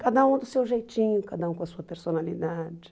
Cada um do seu jeitinho, cada um com a sua personalidade.